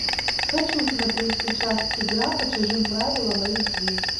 хочу смотреть сейчас игра по чужим правилам эйч ди